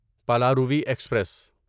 Palaruvi express